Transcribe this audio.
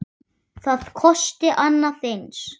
Það kosti annað eins.